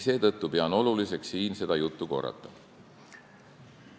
Seetõttu pean oluliseks siin seda juttu korrata.